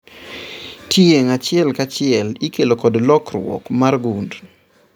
Tieng' achiel kachiel ikelo kod lokruok mar gund